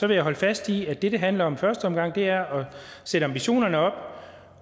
jeg holde fast i at det det handler om i første omgang er at sætte ambitionerne op